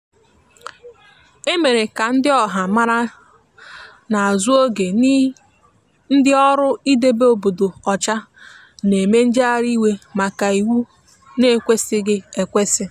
emere ka ndi ọha mara n'azu oge n' ndi ọrụ idebe obodo ocha n'eme njegharị iwe maka iwụ na ekwesighi ekwesi.